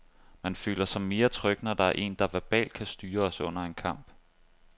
Man føler sig mere tryg, når der er en, der verbalt kan styre os under en kamp.